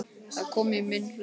Það kom í minn hlut.